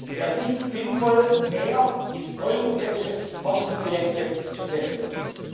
Wäre es nicht sinnvoll, mehr in europäische Forschungsprojekte zu investieren?